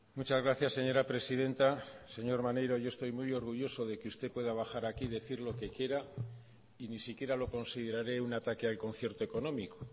muchas gracias señora presidenta señor maneiro yo estoy muy orgulloso de que usted pueda bajar aquí y decir lo que quiera y ni siquiera lo consideraré un ataque al concierto económico